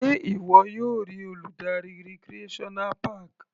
Sé ìwọ yóò rí Olùdarí recreational park?